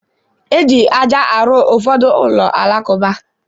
E ji aja arụ ụfọdụ ụlọ alakụba.